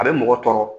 A bɛ mɔgɔ tɔɔrɔ